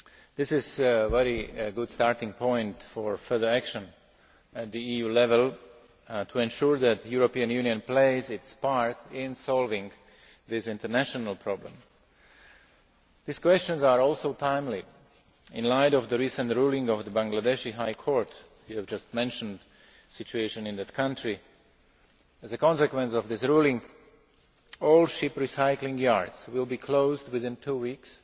This is a very good starting point for further action at EU level to ensure that the European Union plays its part in solving this international problem. These questions are also timely, in the light of the recent ruling of the Bangladeshi High Court that you have just mentioned and the situation in that country. As a consequence of this ruling, all ship recycling yards will be closed within two weeks